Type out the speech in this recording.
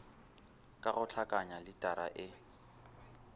ka go hlakanya litara e